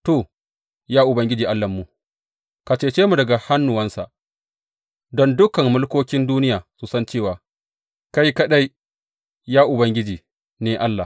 To, ya Ubangiji Allahnmu, ka cece mu daga hannunsa, don dukan mulkokin duniya su san cewa kai kaɗai, ya Ubangiji ne Allah.